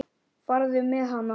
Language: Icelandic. Farðu með hana.